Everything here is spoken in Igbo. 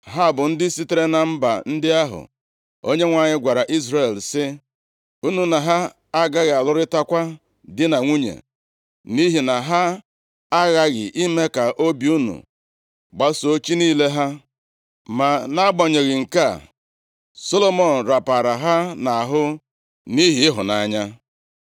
Ha bụ ndị sitere na mba ndị ahụ Onyenwe anyị gwara Izrel sị, “Unu na ha agaghị alụrịtakwa di na nwunye, nʼihi na ha aghaghị ime ka obi unu gbasoo chi niile ha.” Ma, nʼagbanyeghị nke a, Solomọn rapara ha nʼahụ nʼihi ịhụnanya.